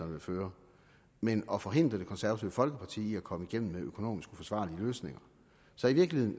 vil føre men at forhindre det konservative folkeparti i at komme igennem med økonomisk uforsvarlige løsninger så i virkeligheden